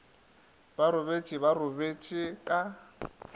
ba robetše ba robetše ka